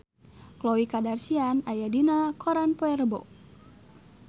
Khloe Kardashian aya dina koran poe Rebo